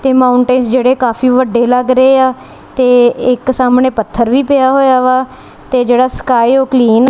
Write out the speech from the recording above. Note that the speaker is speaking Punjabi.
ਤੇ ਮਾਉਂਟੇਂਸ ਜਿਹੜੇ ਕਾਫੀ ਵੱਡੇ ਲੱਗ ਰਹੇ ਆ ਤੇ ਇੱਕ ਸਾਹਮਣੇ ਪੱਥਰ ਵੀ ਪਿਆ ਹੋਇਆ ਵਾ ਤੇ ਜਿਹੜਾ ਸਕਾਈ ਉਹ ਕਲੀਨ --